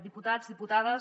diputats diputades